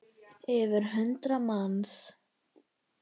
Yfir hundrað manns?